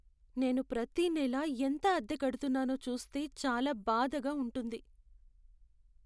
నేను ప్రతి నెలా ఎంత అద్దె కడుతున్నానో చూస్తే చాలా బాధగా ఉంటుంది.